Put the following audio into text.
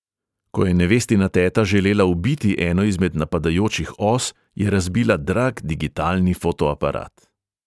Ko je nevestina teta želela ubiti eno izmed napadajočih os, je razbila drag digitalni fotoaparat.